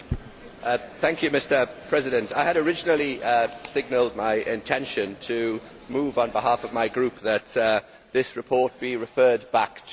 Mr President, I had originally signalled my intention to move on behalf of my Group that this report be referred back to committee.